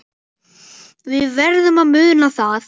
Við verðum að muna það.